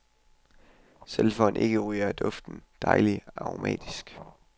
Selv for en ikkeryger er duften dejlig aromatisk.